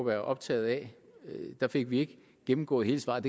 er optaget af at der fik vi ikke gennemgået hele svaret